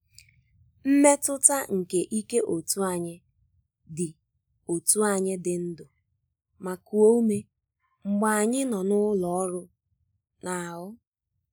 Mmetụta nke íké otú ànyị dị otú ànyị dị ndụ ma kuo ume, mgbe ànyị nọ n’ụlọ ọrụ n’ahụ́